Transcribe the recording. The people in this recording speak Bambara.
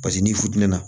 Paseke n'i funtɛnna